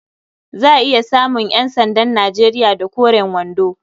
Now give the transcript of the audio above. Za a iya samun ƴansandan Nijeriya da koren wando.